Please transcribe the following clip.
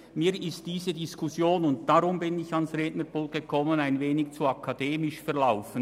Für mich ist diese Diskussion bisher ein wenig zu akademisch abgelaufen.